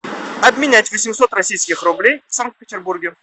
обменять восемьсот российских рублей в санкт петербурге